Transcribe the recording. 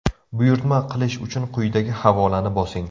Buyurtma qilish uchun quyidagi havolani bosing!